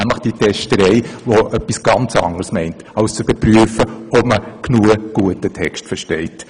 Damit ist etwas anderes gemeint als eine Überprüfung, ob ein Kind einen Text gut genug versteht.